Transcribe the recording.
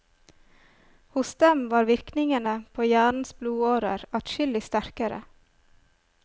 Hos dem var virkningene på hjernens blodårer adskillig sterkere.